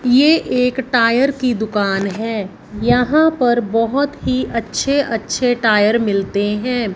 ये एक टायर की दुकान हैं यहाँ पर बहोत ही अच्छे अच्छे टायर मिलते हैं।